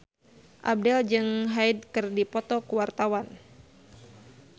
Abdel jeung Hyde keur dipoto ku wartawan